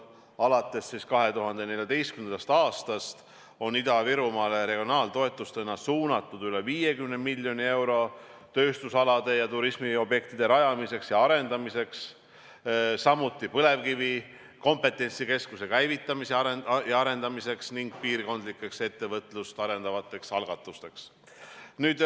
Alates 2014. aastast on Ida-Virumaale regionaaltoetustena suunatud üle 50 miljoni euro tööstusalade ja turismiobjektide rajamiseks ja arendamiseks, samuti põlevkivi kompetentsikeskuse käivitamiseks ja arendamiseks ning piirkondlikeks ettevõtlust arendavateks algatusteks.